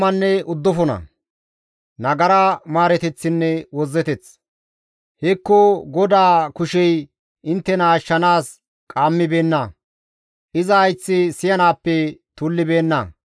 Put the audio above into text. Hekko GODAA kushey inttena ashshanaas qaammibeenna; iza hayththi siyanaappe tullibeenna.